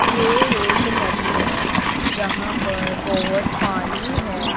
ये एक नदी है जहां पर बहोत पानी है।